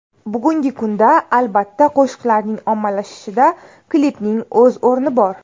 Bugungi kunda, albatta, qo‘shiqlarning ommalashishida klipning o‘z o‘rni bor.